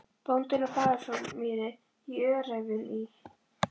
Bóndinn á Fagurhólsmýri í Öræfum í